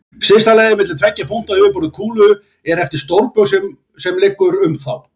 Stysta leiðin milli tveggja punkta á yfirborði kúlu er eftir stórbaug sem liggur um þá.